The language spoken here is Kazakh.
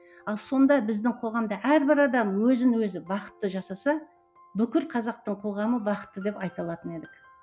ал сонда біздің қоғамда әрбір адам өзін өзі бақытты жасаса бүкіл қазақтың қоғамы бақытты деп айта алатын едік